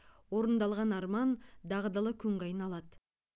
орындалған арман дағдылы күнге айналады